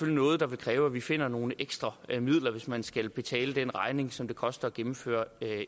er noget der vil kræve at vi finder nogle ekstra midler hvis man skal betale den regning som det koster at gennemføre